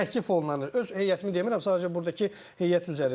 Təklif olunanı, öz heyətimi demirəm, sadəcə burdakı heyət üzərindən.